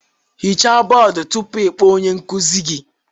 Hichaa bọọdụ tupu ị kpọọ onye nkuzi gị